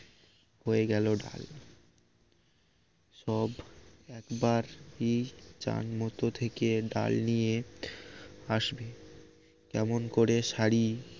হয়ে গেল ডাল সব একবার ই চান মতো থেকে ডাল নিয়ে আসবে কেমন করে সারি